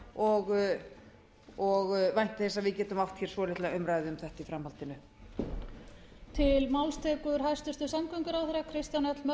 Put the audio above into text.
og vænti þess að við getum átt hér svolitla umræðu um þetta í framhaldinu